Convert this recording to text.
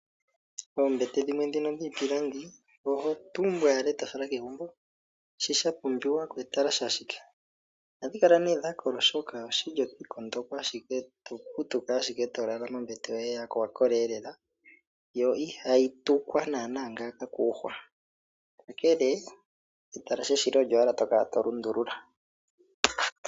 Oombete dhimwe dhino dhiipilangi oho tumbu owala ndele tofala kegumbo, shoka sha pumbiwapo etalashe ashike. Ohadhi kala nee dhakola oshoka otwiikondoko ashike tokuutumba, tolala ombete yoye yakola lela. Yo ihayi tukwa nana ngaaka koohwa, ongele etalashe shila olyo owala tokala tolundulula.